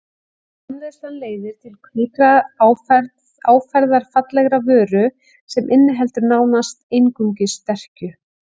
Framleiðslan leiðir til hvítrar áferðarfallegrar vöru sem inniheldur nánast einungis sterkju.